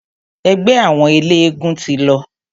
Ẹgbẹ́ àwọn eléegún ti lọ.